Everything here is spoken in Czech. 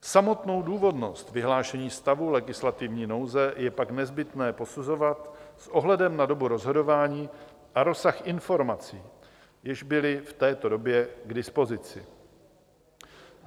Samotnou důvodnost vyhlášení stavu legislativní nouze je pak nezbytné posuzovat s ohledem na dobu rozhodování a rozsah informací, jež byly v této době k dispozici.